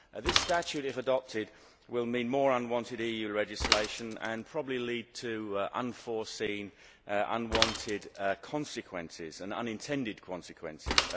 This statute, if adopted, will mean more unwanted EU legislation and probably lead to unforeseen, unwanted consequences and unintended consequences.